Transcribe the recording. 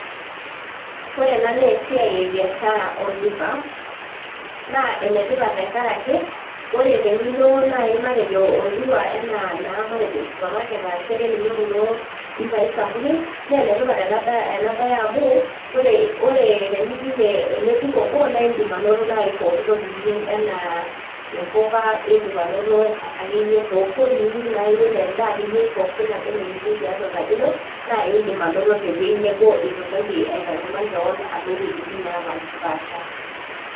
Ore ena naa esiai e biashara olduka naa enetipat tenkaraki ore enilo naaji matejo olduka enaa naa matejo supermarket arashu akeninye kulo dukai sapukin naa enetipat ena baye amu ore ore tenijing eh ele duka obo naindim anoto naaji pokitoki niyieu enaa impuka indip anoto akeyie pokitoki niyieu naa iyie anaa endaa akeyie pookin naba enaa eniyieu tiatua enkaji ino naindim anoto tewueji nebo etu intoki aitanyamal kewon alo iwuejitin nepashipasha.